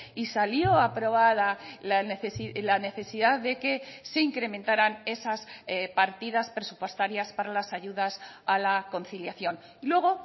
y salió aprobada la necesidad de que se incrementaran esas partidas presupuestarias para las ayudas a la conciliación y luego